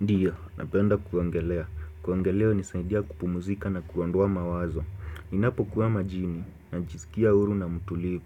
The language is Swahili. Ndiyo, napenda kuogelea. Kuogelea hunisaidia kupumuzika na kuondoa mawazo. Ninapo kuwa majini najisikia huru na mtulivu.